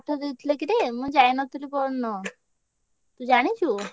ଦେଇଥିଲେ କିରେ ମୁଁ ଯାଇ ନଥିଲି ପରଦିନ ତୁ ଜାଣିଚୁ?